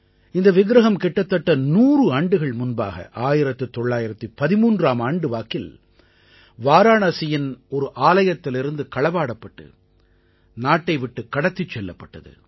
இந்த விக்ரஹம் கிட்டத்தட்ட 100 ஆண்டுகள் முன்பாக 1913ஆம் ஆண்டு வாக்கில் வாராணசியின் ஒரு ஆலயத்திலிருந்து களவாடப்பட்டு நாட்டை விட்டுக் கடத்திச் செல்லப்பட்டது